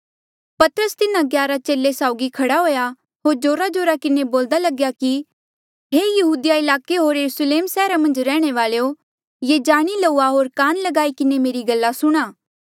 पतरस तिन्हा ग्यारा चेले साउगी खड़ा हुएया होर जोराजोरा किन्हें बोल्दा लग्या कि हे यहूदिया ईलाके होर यरुस्लेम सैहरा मन्झ रैहणे वालेयो ये जाणी लऊआ होर कान ल्गाई किन्हें मेरी गल्ला सुणा